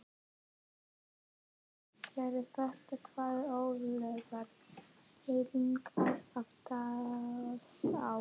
Heimir: Eru þetta tvær öflugar fylkingar að takast á?